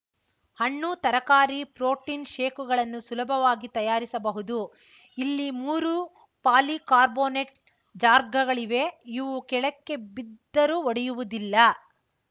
ಹಣ್ಣು ತರಕಾರಿ ಪ್ರೊಟಿನ್‌ ಶೇಕುಗಳನ್ನು ಸುಲಭವಾಗಿ ತಯಾರಿಸಬಹುದು ಇಲ್ಲಿ ಮೂರು ಪಾಲಿಕಾರ್ಬೊನೇಟ್‌ ಜಾರ್‌ಗಳಿವೆ ಇವು ಕೆಳಕ್ಕೆ ಬಿದ್ದರೂ ಒಡೆಯುವುದಿಲ್ಲ